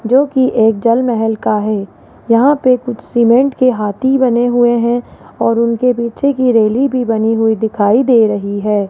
जोकि एक जल महल का है यहां पे कुछ सीमेंट के हाथी बने हुए हैं और उनके पीछे की रैली भी बनी हुई दिखाई दे रही है।